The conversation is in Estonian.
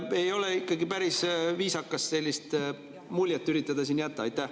Ei ole ikkagi päris viisakas üritada sellist muljet jätta.